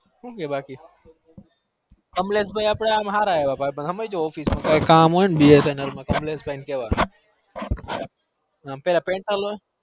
હું કે બાકી કમ્લેસ ભાઈ હર office માં કઈ કામ હોય તો bsnl માં કમલેસ ભાઈ